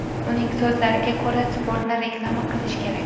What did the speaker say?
Uning so‘zlariga ko‘ra, sportni reklama qilish kerak.